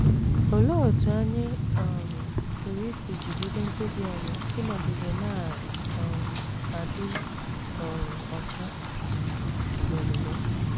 Olee otú anyị um pụrụ isi jigide mkpebi anyị ịnọgide na - um adị um ọcha n’omume?